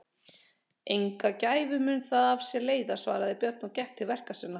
Enga gæfu mun það af sér leiða, svaraði Björn og gekk til verka sinna.